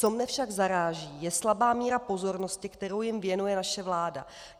Co mě však zaráží, je slabá míra pozornosti, kterou jim věnuje naše vláda.